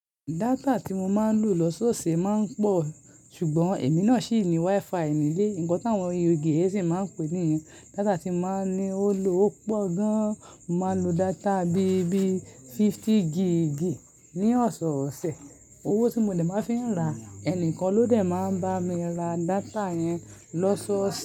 Data tí mo máa ń lò lọ́sọ̀ọ̀sẹ̀ máa ń pọ̀, ṣùgbọ́n èmi náà ṣì ní WiFi ní ilé. Nǹkan táwọn yen si máa ń pè nìyẹn. Data tí máa ń ní ó lò ó pọ̀ gan, mo máa ń lo data bí i bíí fifty gig ní ọ̀sọ̀ọ̀sẹ̀. Owó tí mo dè máa fi ra, ẹni kan ló dẹ̀ máa ń bá mi ra data yẹn lọ́sọ̀ọ̀sẹ̀.